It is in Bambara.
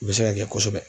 U bɛ se ka kɛ kosɛbɛ